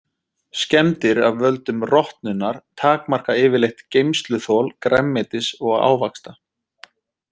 Skemmdir af völdum rotnunar takmarka yfirleitt geymsluþol grænmetis og ávaxta.